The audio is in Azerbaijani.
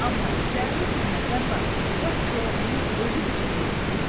Amma içlərində bir nəfər var, lap Koroğlunun özüdür ki, durub.